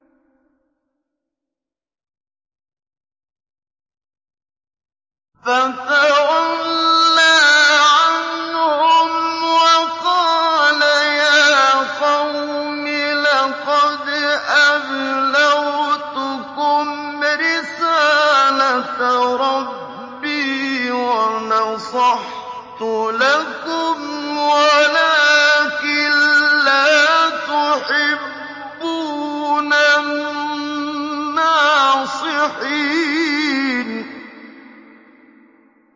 فَتَوَلَّىٰ عَنْهُمْ وَقَالَ يَا قَوْمِ لَقَدْ أَبْلَغْتُكُمْ رِسَالَةَ رَبِّي وَنَصَحْتُ لَكُمْ وَلَٰكِن لَّا تُحِبُّونَ النَّاصِحِينَ